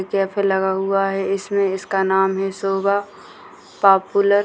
Cafe लगा हुआ है इसमें इसका नाम है सुबा पापुलर ।